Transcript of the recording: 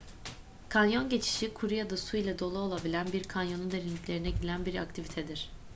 kanyon geçişi kuru ya da su ile dolu olabilen bir kanyonun derinliklerine gidilen bir aktivitedir